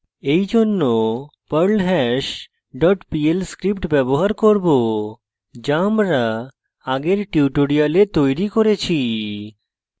এরজন্য perlhash dot pl script ব্যবহার করব যা আমরা আগের tutorial তৈরী করেছি